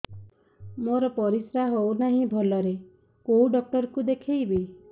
ମୋର ପରିଶ୍ରା ହଉନାହିଁ ଭଲରେ କୋଉ ଡକ୍ଟର କୁ ଦେଖେଇବି